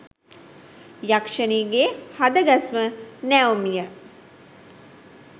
යක්ෂණියගේ හද ගැස්ම නැවුම් ය.